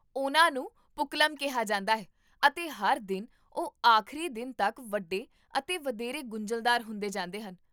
ਉਹਨਾਂ ਨੂੰ ਪੁੱਕਲਮ ਕਿਹਾ ਜਾਂਦਾ ਹੈ ਅਤੇ ਹਰ ਦਿਨ ਉਹ ਆਖਰੀ ਦਿਨ ਤੱਕ ਵੱਡੇ ਅਤੇ ਵਧੇਰੇ ਗੁੰਝਲਦਾਰ ਹੁੰਦੇ ਜਾਂਦੇ ਹਨ